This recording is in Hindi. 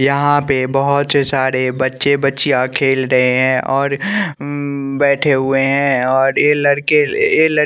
यहां पे बहोत सारे बच्चे बच्चियां खेल रहे हैं और बैठे हुए हैं और ए लड़के ए--